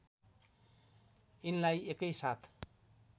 यिनलाई एकै साथ